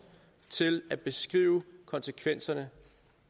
til at beskrive konsekvenserne